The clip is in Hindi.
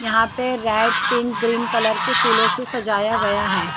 यहाँ पे रेड पिंक ग्रीन कलर के फूलों से सजाया गया है।